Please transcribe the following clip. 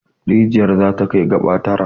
Rijiyar za ta kai gaba tara.